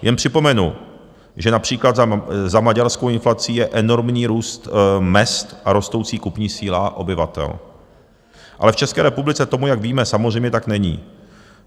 Jen připomenu, že například za maďarskou inflací je enormní růst mezd a rostoucí kupní síla obyvatel, ale v České republice tomu, jak víme, samozřejmě tak není.